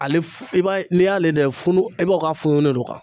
Ale f i b'a ye n'i y'ale funu i b'a k'a funu de don